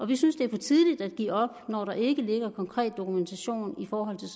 vi synes det er for tidligt at give op når der ikke ligger konkret dokumentation i forhold til